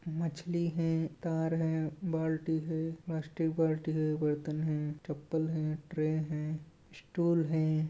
मछली है तार है बाल्टी है प्लास्टिक बाल्टी बर्तन है चप्पल है ट्रे है स्टूल है।